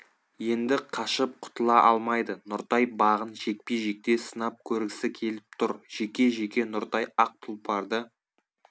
енді қашып құтыла алмайды нұртай бағын жекпе-жекте сынап көргісі келіп тұр жеке жеке нұртай ақ тұлпарды